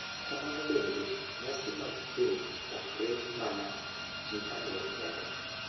Kamano bende, nyasi mag keny ok riw mana ji ariyo kende ,.